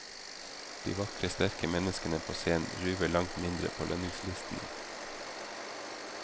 De vakre, sterke menneskene på scenen ruver langt mindre på lønningslistene.